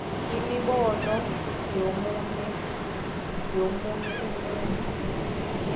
imibono yomunye umuntu